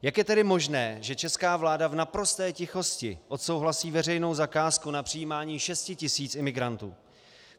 Jak je tedy možné, že česká vláda v naprosté tichosti odsouhlasí veřejnou zakázku na přijímání 6 000 imigrantů?